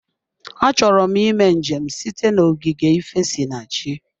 Achọrọ m ịme njem site na ogige ifesinachi.